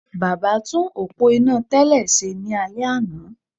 Baba tún òpó iná tẹ́lẹ̀ ṣe ní alẹ́ àná